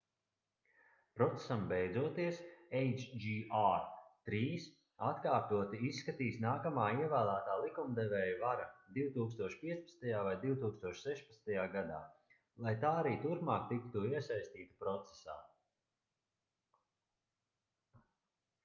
procesam beidzoties hjr-3 atkārtoti izskatīs nākamā ievēlētā likumdevēja vara 2015. vai 2016. gadā lai tā arī turpmāk tiktu iesaistīta procesā